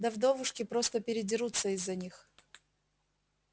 да вдовушки просто передерутся из-за них